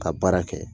Ka baara kɛ